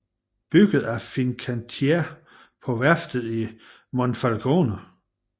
Bygget af Fincantieri på værftet i Monfalcone